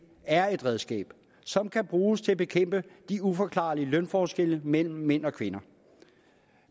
er et redskab som kan bruges til at bekæmpe de uforklarlige lønforskelle mellem mænd og kvinder